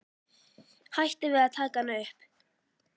Hætti við að taka hana upp.